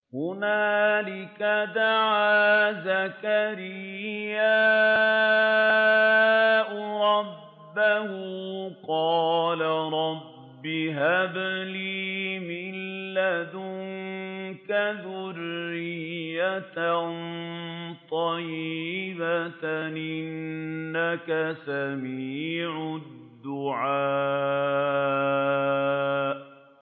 هُنَالِكَ دَعَا زَكَرِيَّا رَبَّهُ ۖ قَالَ رَبِّ هَبْ لِي مِن لَّدُنكَ ذُرِّيَّةً طَيِّبَةً ۖ إِنَّكَ سَمِيعُ الدُّعَاءِ